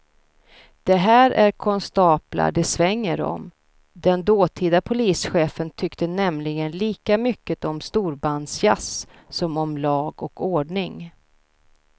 Det här är konstaplar det svänger om, den dåtida polischefen tyckte nämligen lika mycket om storbandsjazz som om lag och ordning.